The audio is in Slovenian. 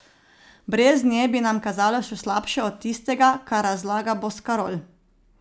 Brez nje bi nam kazalo še slabše od tistega, kar razlaga Boskarol.